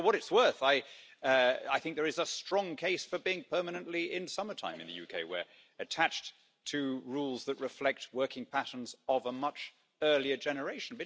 For what it's worth, I think there is a strong case for being permanently in summertime in the UK, where we're attached to rules that reflect working patterns of a much earlier generation.